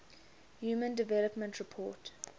human development report